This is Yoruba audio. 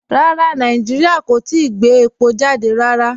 Rárá, Nàìjíríà kò tìí gbẹ̀ èpọ̀ jàdẹ̀ rárá.